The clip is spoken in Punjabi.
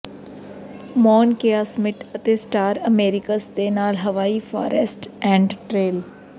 ਮੌਣ ਕੇਆ ਸਮਿਟ ਅਤੇ ਸਟਾਰ ਅਮੇਰਿਕਸ ਦੇ ਨਾਲ ਹਵਾਈ ਫਾਰੈਸਟ ਐਂਡ ਟ੍ਰੇਲ